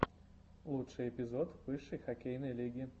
лучший эпизод высшей хоккейной лиги